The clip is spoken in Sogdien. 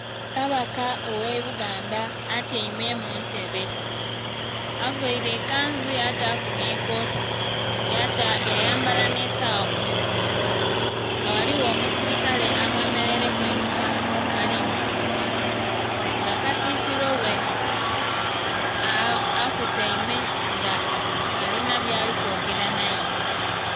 Kabaka ogh'ebuganda atyaime mu ntebe avaire ekanzu yataaku n'ekooti, yayambala n'esawa ku mukono nga ghaligho omusirikale amwemeleireku einhuma ali mukuuma, nga Katikiro ghe akutaime nga alina byali kwogera naye.